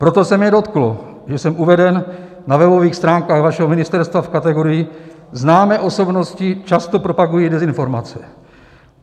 Proto se mě dotklo, že jsem uveden na webových stránkách vašeho ministerstva v kategorii "Známé osobnosti často propagují dezinformace".